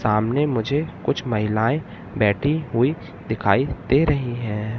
सामने मुझे कुछ महिलाएं बैठी हुई दिखाई दे रही है।